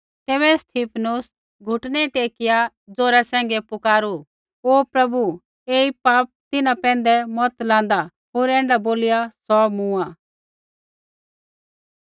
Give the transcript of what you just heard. तैबै स्तिफनुस घुटनै टेकिआ ज़ोरा सैंघै पुकारू हे प्रभु ऐई पाप तिन्हां पैंधै मत लान्दा होर ऐण्ढा बोलिआ सौ मूँआ